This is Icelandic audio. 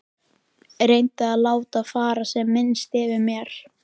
Reyni að láta fara sem minnst fyrir mér.